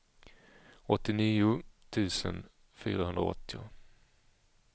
åttionio tusen fyrahundraåttio